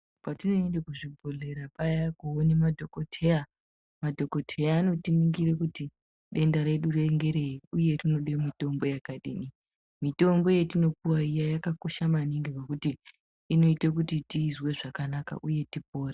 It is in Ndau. Patinoenda kuzvibhodhlera paya koone madhokoteya, madhokoteya aya anotiningire kuti denda redu ngerei uye rinode mutombo yakadini. Mitombo yatinopuwa iya yakakosha maningi ngokuti inoite kuti tizwe zvakanaka uye tipore.